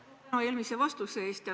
Palju tänu eelmise vastuse eest!